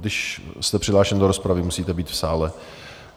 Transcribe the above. Když jste přihlášen do rozpravy, musíte být v sále.